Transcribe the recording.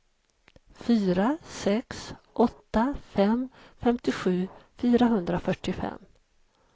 fyra sex åtta fem femtiosju fyrahundrafyrtiofem